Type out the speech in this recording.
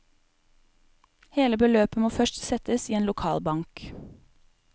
Hele beløpet må først settes i en lokal bank.